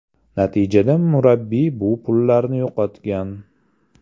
Natijada murabbiy bu pullarini yo‘qotgan.